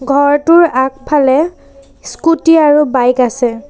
ঘৰটোৰ আগফালে স্কুটী আৰু বাইক আছে।